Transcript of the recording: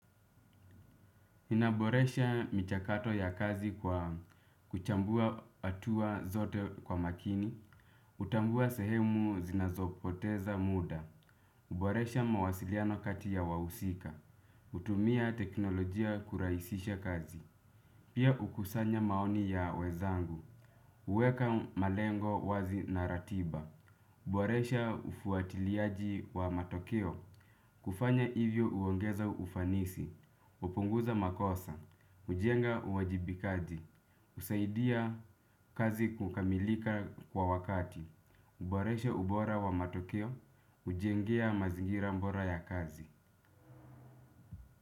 Inaboresha mchakato ya kazi kwa kuchambua hatua zote kwa makini, hutambua sehemu zinazopoteza muda, huboresha mawasiliano kati ya wahusika, kutumia teknolojia kurahisisha kazi, pia kukusanya maoni ya wezangu, huweka malengo wazi na ratiba, huboresha ufuatiliaji wa matokeo, kufanya hivyo huongeza ufanisi, hupunguza makosa, hujenga uwajibikaji, husaidia kazi kukamilika kwa wakati, huboresha ubora wa matokeo, hujengea mazingira bora ya kazi.